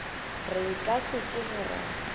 re ka se tsoge ra